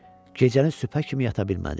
Gecəni sübhə kimi yata bilmədi.